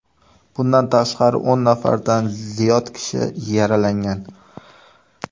Bundan tashqari, o‘n nafardan ziyod kishi yaralangan.